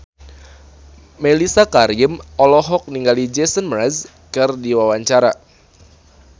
Mellisa Karim olohok ningali Jason Mraz keur diwawancara